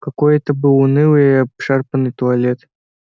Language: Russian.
какой это был унылый и обшарпанный туалет